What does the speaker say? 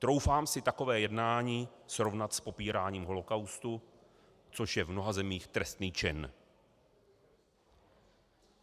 Troufám si takové jednání srovnat s popíráním holocaustu, což je v mnoha zemích trestný čin.